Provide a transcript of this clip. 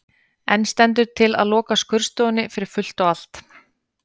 En stendur til að loka skurðstofunni fyrir fullt og allt?